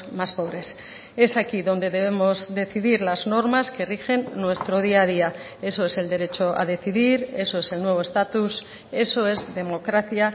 más pobres es aquí donde debemos decidir las normas que rigen nuestro día a día eso es el derecho a decidir eso es el nuevo estatus eso es democracia